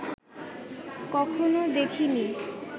কখনো দেখিনি